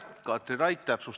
Head Riigikogu liikmed!